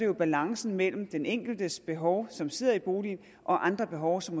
om balancen mellem den enkeltes behov som sidder i boligen og andres behov som